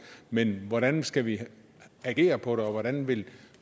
men hvordan skal vi agere på det og hvordan vil